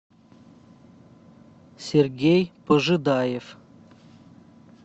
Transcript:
сергей пожидаев